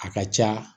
A ka ca